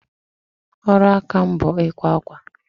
Ọrụ aka m bụ ikwa akwa.